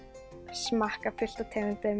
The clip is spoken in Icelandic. smakka fullt af tegundum